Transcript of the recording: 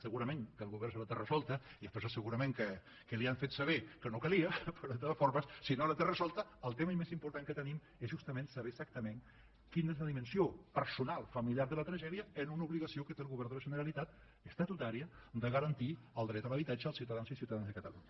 segurament que el govern la té resolta i és per això segurament que li han fet saber que no calia però de totes formes si no la té resolta el tema més important que tenim és justament saber exactament quina és la dimensió personal familiar de la tragèdia en una obligació que té el govern de la generalitat estatutària de garantir el dret a l’habitatge als ciutadans i ciutadanes de catalunya